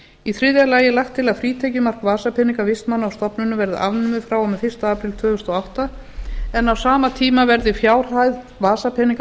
í þriðja lagi er lagt til að frítekjumark vasapeninga vistmanna á stofnunum verði afnumið frá og með fyrsta apríl tvö þúsund og átta en á sama tíma verði fjárhæð vasapeninga